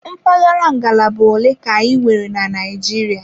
Mpaghara ngalaba ole ka anyị nwere na Naịjirịa?